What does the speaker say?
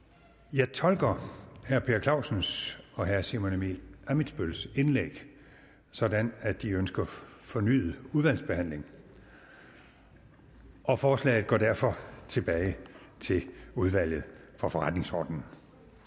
jeg tolker herre per clausens og herre simon emil ammitzbølls indlæg sådan at de ønsker en fornyet udvalgsbehandling og forslaget går derfor tilbage til udvalget for forretningsordenen